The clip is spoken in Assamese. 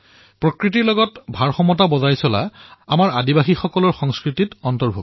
প্ৰকৃতিৰ সৈতে সামঞ্জস্য বৰ্তাই ৰখাটো আমাৰ আদিবাসী সম্প্ৰদায়ৰ সংস্কৃতিৰ এক অংগ